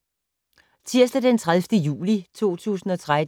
Tirsdag d. 30. juli 2013